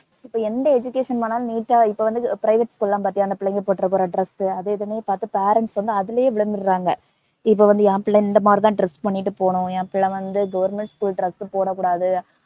இப்ப எந்த education போனாலும் neat ஆ இப்ப வந்து private school லா பாத்தியா அந்த புள்ளைங்க போட்டுப்போற dress ஊ அது இதுனே பாத்து parents வந்து அதுலே விழுந்துடறாங்க. இப்ப வந்து என் பிள்ளை இந்தமாதிரிதான் dress பன்னிட்டு போகணும் என் பிள்ளை வந்து government school dress போடக்கூடாது